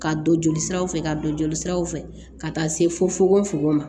Ka don jolisiraw fɛ ka don jolisiraw fɛ ka taa se fo fo ma